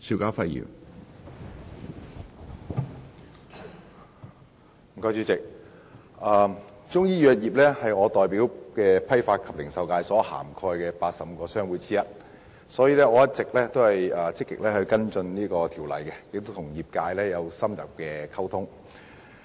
主席，中醫藥業是我代表的批發及零售界所涵蓋的85個商會之一，所以我一直積極跟進《2017年中醫藥條例草案》，並與業界有深入的溝通。